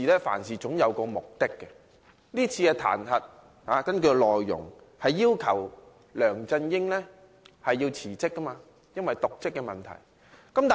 凡事總有其目的，而根據議案內容，這次彈劾的目的是要求梁振英因其瀆職問題辭職。